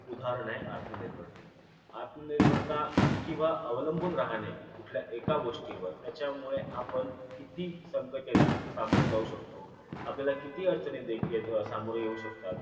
एक उदाहरण आहे आत्मनिर्भरतेच आत्मनिर्भरता आणि किंवा अवलंबून राहणे कुठल्या एका गोष्टीवर त्याच्यामुळे आपण किती संकटाला सामोरे जाऊ शकतो आपल्याला किती अडचणी दे हे सामोरे जाऊ शकतात